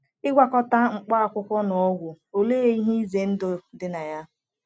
Ịgwakọta Mkpá Akwụkwọ na Ọgwụ — Olee Ihe Ize Ndụ Ndị Dị na Ya?